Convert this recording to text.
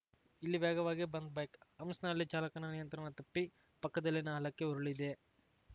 ಇಲ್ಲಿ ವೇಗವಾಗಿ ಬಂದ್‌ ಬೈಕ್‌ ಹಂಫ್ಸ್‌ನಲ್ಲಿ ಚಾಲಕನ ನಿಯಂತ್ರಣ ತಪ್ಪಿ ಪಕ್ಕದಲ್ಲಿನ ಹಳ್ಳಕ್ಕೆ ಉರುಳಿದೆ